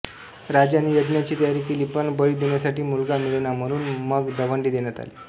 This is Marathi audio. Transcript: राजाने यज्ञाची तयारी केली पण बळी देण्यासाठी मुलगा मिळेना म्हणून मग दवंडी देण्यात आली